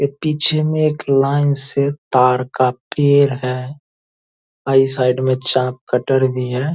एक पीछे में एक लाइन से एक ताड़ का पेड़ है ए साइड में चाप कटर भी है।